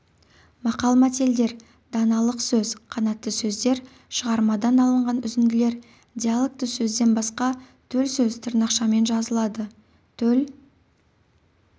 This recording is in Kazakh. мақал-мәтелдер даналық сөз қанатты сөздер шығармадан алынған үзінділер диалогты сөзден басқа төл сөз тырнақшамен жазылады төл